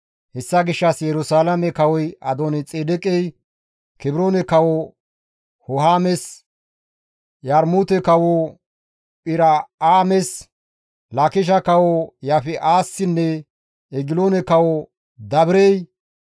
Hessa gishshas Yerusalaame kawoy Adooni-Xeedeqey, Kebroone kawo Hohaames, Yarmuute kawo Phir7aames, Laakishe kawo Yaafi7assinne Egiloone kawo Dabirey,